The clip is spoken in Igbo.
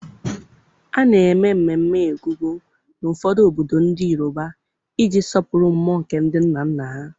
A na-eme mmemme Egungun na ụfọdụ obodo ndị Yoruba iji sọpụrụ mmụọ nke ndị nna nna ha.